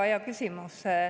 Väga hea küsimus.